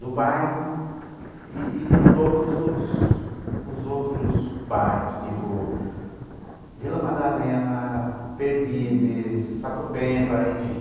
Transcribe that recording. do bairro e e de todos os outros bairros, tipo Vila Madalena, Perdizes, Sapopemba, enfim.